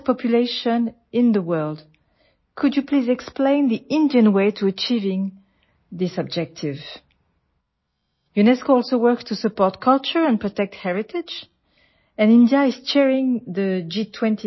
বিশ্বৰ সৰ্বাধিক জনসংখ্যাৰ সৈতে আপুনি অনুগ্ৰহ কৰি এই উদ্দেশ্যত উপনীত হোৱাৰ বাবে ভাৰতীয় উপায়সমূহ ব্যাখ্যা কৰিব পাৰিবনে ইউনেস্কোৱে সংস্কৃতিক সমৰ্থন কৰা আৰু ঐতিহ্য সুৰক্ষিত কৰাৰ বাবেও কাম কৰে আৰু ভাৰতে এই বছৰ জি২০ৰ অধ্যক্ষতা কৰি আছে